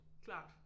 Klart